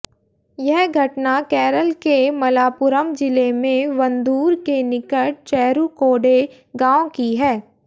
यह घटना केरल के मलापुरम ज़िले में वंदूर के निकट चेरूकोडे गांव की है